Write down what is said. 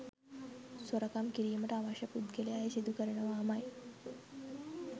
සොරකම් කිරීමට අවශ්‍ය පුද්ගලයා එය සිදු කරනවාමයි.